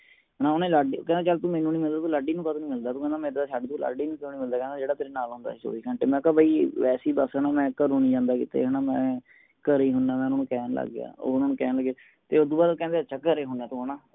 ਨਾ ਓਹਨੇ ਲਾਡੀ ਕਹਿੰਦਾ ਚਲ ਤੂ ਮੇਨੂ ਨੀ ਮਿਲਦਾ ਲਾਡੀ ਨੂੰ ਕਾਹਨੂੰ ਨੀ ਮਿਲਦਾ ਕਹਿੰਦਾ ਮੇਨੂ ਛੱਡ ਤੂੰ ਲਾਡੀ ਨੂੰ ਕਿਉਂ ਨੀ ਮਿਲਦਾ ਜੇੜਾ ਤੇਰੇ ਨਾਲ ਹੁੰਦਾ ਹੈ ਚੋਵੀ ਘੰਟੇ ਮੈ ਕਿਹਾ ਬਈ ਵੈਸੇ ਹੀ ਬਸ ਘਰੇ ਹੀ ਨੀ ਜਾਂਦਾ ਕੀਤੇ ਹਣਾ ਮੈ ਘਰੇ ਹੀ ਹੁੰਦਾਮੈ ਓਹਨਾ ਨੂੰ ਕਹਿਣ ਲਗ ਗਯਾ ਉਹ ਓਹਨਾ ਨੂੰ ਕਹਿਣ ਲਗ ਗਏ ਤੇ ਓਸਦੋ ਬਾਦ ਉਹ ਕਹਿੰਦੇ ਅੱਛਾ ਘਰੇ ਹੁੰਦਾ ਹੈ ਤੂੰ ਹਣਾ